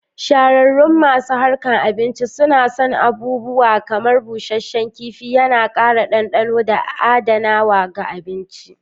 Shahararun masu harkan abinci suna son abubuawa kamar busasshen kif,i yana ƙara dandano da adanawa ga abinci.